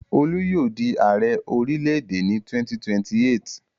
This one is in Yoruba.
Olú yóò di Ààrẹ orílẹ̀-èdè yìí ní 2028.